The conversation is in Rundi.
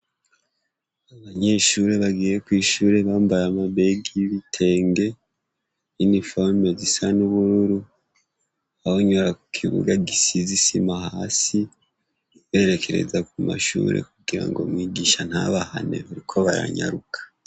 Abanyeshuri bagiye ku ishuri bambaye amabege yibitenge iniforume zisa n'ubururu abonyura kibuga gisizisima hasi berekereza ku mashure kugira ngo mwigisha ntabahane ariko baranyaruka.